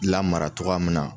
Lamara cogoya min na,